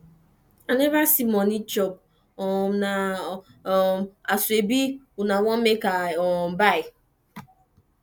i neva see moni chop um na um asoebi una want make i um buy